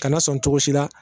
Kana sɔn cogo si la